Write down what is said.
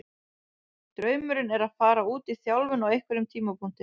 Draumurinn er að fara út í þjálfun á einhverjum tímapunkti.